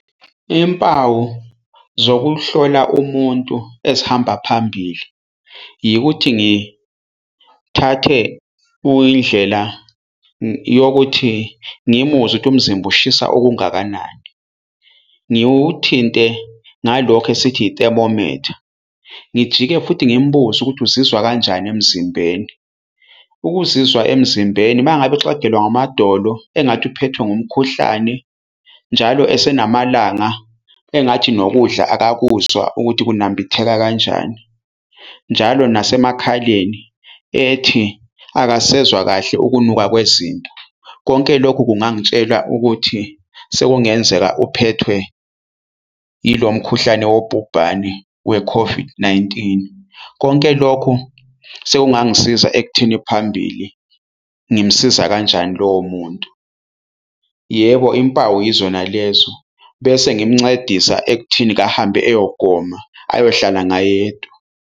Impawu zokuhlola umuntu ezihamba phambili yikuthi ngithathe indlela yokuthi ngimuzwe ukuthi umzimba ushisa okungakanani, ngiwuthinte ngalokho esithi itemomitha. Ngijike futhi ngimbuze ukuthi uzizwa kanjani emzimbeni. Ukuzizwa emzimbeni umangabe exegelwa ngamadolo engathi uphethwe umkhuhlane, njalo esenamalanga engathi nokudla akakuzwa ukuthi kunambitheka kanjani, njalo nasemakhaleni ethi akasezwa kahle ukunuka kwezinto. Konke lokhu kungangitshela ukuthi sekungenzeka uphethwe ilo mkhuhlane wobhubhane we-COVID-19. Konke lokho sekungangisiza ekutheni phambili ngimsiza kanjani lowo muntu. Yebo, impawu yizona lezo bese ngimncedisa ekutheni-ke ahambe eyogoma ayohlala ngayedwa.